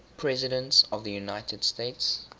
presidents of the united states